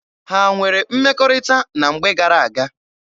Ha nwere mmekọrịta na mgbe gara-aga?